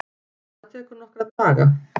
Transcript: Það tekur nokkra daga.